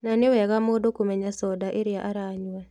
Na nĩwega mũndũ kũmenya thonda ĩrĩa aranyua